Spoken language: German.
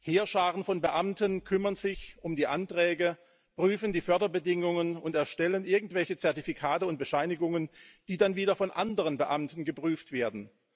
Heerscharen von Beamten kümmern sich um die Anträge, prüfen die Förderbedingungen und erstellen irgendwelche Zertifikate und Bescheinigungen, die dann wieder von anderen Beamten geprüft werden.